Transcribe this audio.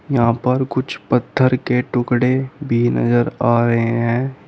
यहां पर कुछ पत्थर के टुकड़े भी नजर आ रहे हैं।